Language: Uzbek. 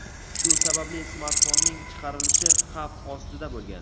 Shu sababli smartfonning chiqarilishi xavf ostida bo‘lgan.